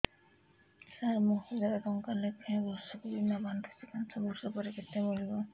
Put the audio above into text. ସାର ମୁଁ ହଜାରେ ଟଂକା ଲେଖାଏଁ ବର୍ଷକୁ ବୀମା ବାଂଧୁଛି ପାଞ୍ଚ ବର୍ଷ ପରେ କେତେ ମିଳିବ